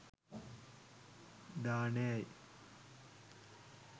දානය යි.